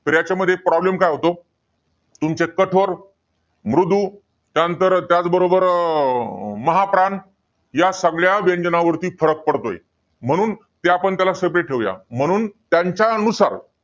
तर याच्यामध्ये problem काय होतो? तुमचे कठोर, मृदू त्यानंतर, त्याचबरोबर महाप्राण या सगळ्या व्यंजना वरती फरक पडतोय. म्हणून आपण त्याला separate ठेवूया. म्हणून त्यांच्या नुसार